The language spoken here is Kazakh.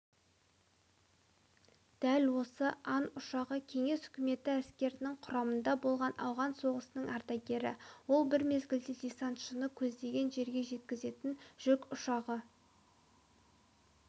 дәл осы ан ұшағы кеңес үкіметі әскерінің құрамында болған ауған соғысының ардагері ол бір мезгілде десантшыны көздеген жерге жеткізетін жүк ұшағы